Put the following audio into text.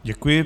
Děkuji.